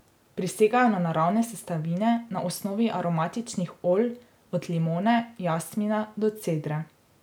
Prisegajo na naravne sestavine na osnovi aromatičnih olj, od limone, jasmina do cedre.